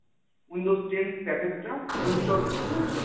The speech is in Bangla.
windows ten package টা install হতে। বুঝেছ?